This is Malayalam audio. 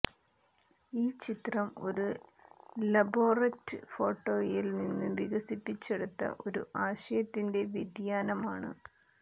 ഈ ചിത്രം ഒരു ലബോററ്റ് ഫോട്ടോയിൽ നിന്ന് വികസിപ്പിച്ചെടുത്ത ഒരു ആശയത്തിന്റെ വ്യതിയാനമാണ്